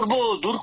হ্যাঁ স্যার